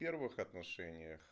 в первых отношениях